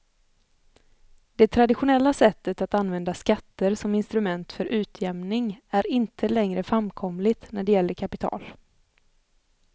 Det traditionella sättet att använda skatter som instrument för utjämning är inte längre framkomligt när det gäller kapital.